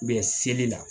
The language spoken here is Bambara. Bɛ seli la